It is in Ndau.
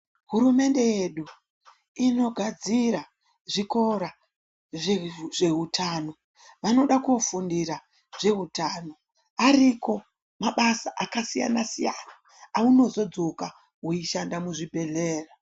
Hurumende yedu inogadzira zvikora zveutano vanoda kofundira zveutano ariko mabasa akasiyana siyana aunozodzoka weishanda muzvibhedhlera.